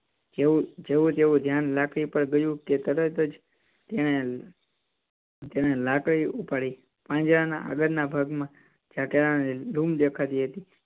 જેવુ, જેવુ તેનું ધ્યાન લાકડી પર ગયું કે તરત જ તેને, તેને લાકડી ઉપાડી પાંજરા ના આગળ ના ભાગ માં જ્યાં કેળાં ની લૂમ દેખાતી હતી